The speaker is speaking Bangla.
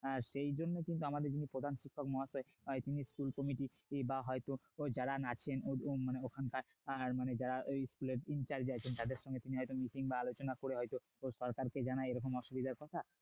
আর সেই জন্যই কিন্তু আমাদের প্রধান শিক্ষক মহাশয় বা school committee বা হয়ত ওই যারা ওখানকার স্কুলে যারা school team আছেন তাদের সাথে হয়তো মিটিং বা আলোচনা করে সরকারকে জানায় এরকম অসুবিধার কথা